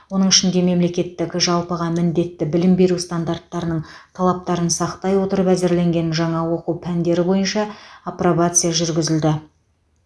оның ішінде мемлекеттік жалпыға міндетті білім беру стандартының талаптарын сақтай отырып әзірленген жаңа оқу пәндері бойынша апробация жүргізілді